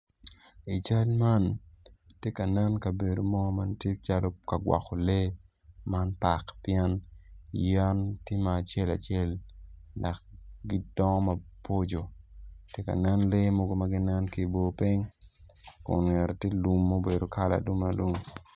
I cal man atye ka neno kabedo mo ma bedo calo ka gwoko lee man pak pien yen tye ma acel acel dok gidongo maboco atye ka neno lee mo ma nen ki i bor piny kume tye kala ma obedo alum alum.